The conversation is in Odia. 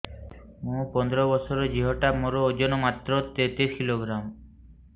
ମୁ ପନ୍ଦର ବର୍ଷ ର ଝିଅ ଟା ମୋର ଓଜନ ମାତ୍ର ତେତିଶ କିଲୋଗ୍ରାମ